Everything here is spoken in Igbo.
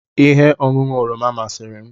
Ihe ọṅụṅụ oroma masịrị m